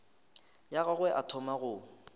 ya gagwe a thoma go